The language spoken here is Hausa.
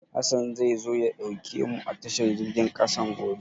Hassan zai zo ya ɗauke mu a tashar jirgin ƙasan gobe.